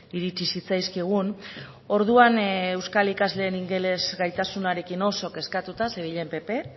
iritsi zitzaizkigun orduan euskal ikasleen ingeles gaitasunarekin oso kezkatuta zebilen pp